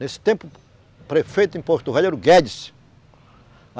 Nesse tempo, o prefeito em Porto Velho era o Guedes.